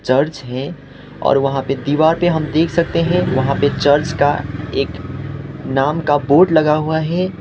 Church है और वहां पे दीवार पे हम देख सकते हैं वहां पे चर्च का एक नाम का बोर्ड लगा हुआ है।